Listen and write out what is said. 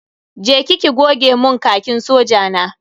Je ki ki goga mun Khakin soja na.